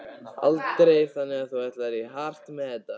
Andri: Þannig að þú ætlar í hart með þetta?